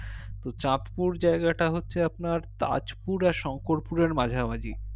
তো চাঁদপুর জায়গাটা হচ্ছে আপনার তাজপুর আর শংকরপুর এর মাঝামাঝি